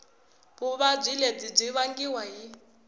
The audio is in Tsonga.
vuvabyi lebyi byi vangiwa hi